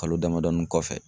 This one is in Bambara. Kalo damadɔni kɔfɛ